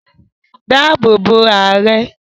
Dáàbò bo Ààrẹ!